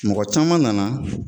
Mɔgɔ caman nana